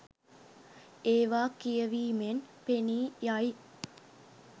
ඒවා කියවීමෙන් පෙනී යයි.